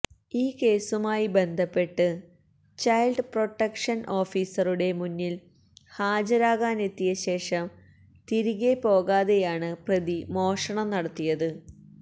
ഈ കേസുമായി ബന്ധപ്പെട്ട് ചൈല്ഡ് പ്രൊട്ടക്ഷന് ഓഫീസറുടെ മുന്നില് ഹാജരാകനെത്തിയശേഷം തിരികെ പോകാതെയാണ് പ്രതി മോഷണം നടത്തിയത്